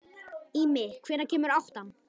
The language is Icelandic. Ími, hvenær kemur áttan?